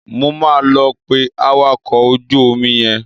Mo máa lọ pe awakọ̀ ojú omi yẹn.